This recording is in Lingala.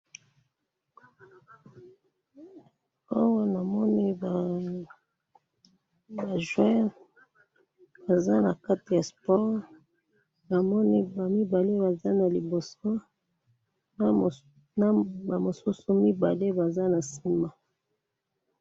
awa na moni ba joeurs baza kati ya sport bango mibale baza na liboso na ba mosusu mibale baza na sima